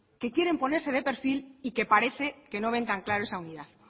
que quieren ponerse de perfil y que parece que no ven tan claro esa unidad